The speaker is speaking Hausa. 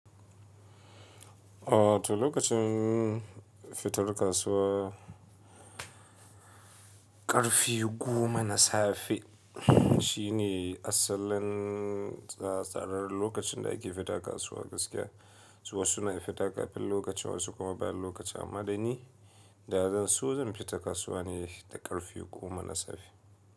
Oh to lokacin fitar kasuwa ƙarfe goma na safe shine asalin tsatsaran lokacin da ake fita kasuwa gaskiya. Wasu na fita ƙafin lokacin wasu kuma bayan lokacin amma da ni da zan so zan fita kasuwa ne da ƙarfe goma na safe.